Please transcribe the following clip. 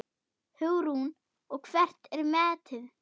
Hugrún: Og hvert er metið?